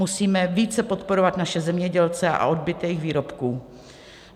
Musíme více podporovat naše zemědělce a odbyt jejich výrobků.